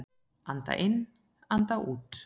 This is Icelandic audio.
Anda inn, anda út!